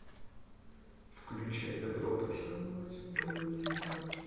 включай добро пожаловать в бальный зал